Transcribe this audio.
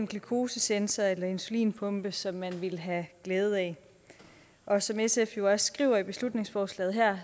glukosesensor eller insulinpumpe som man ville have glæde af og som sf jo også skriver i beslutningsforslaget her